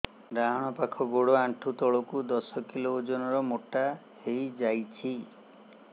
ଡାହାଣ ପାଖ ଗୋଡ଼ ଆଣ୍ଠୁ ତଳକୁ ଦଶ କିଲ ଓଜନ ର ମୋଟା ହେଇଯାଇଛି